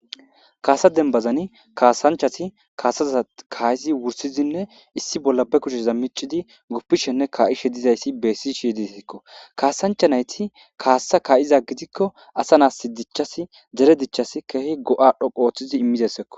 kaasa denbazani kaasanchasi kaasazaza kaayizi wursizinne issi bolla be kucheza micidi guppishenne ka7ishe dizayssi beessi shiyyditeekko kaasanchanayti kaassa kaayiza gidikko asa naas si dichchasi dere dichchasi keehi go7adhoqo ooththizi immizesseko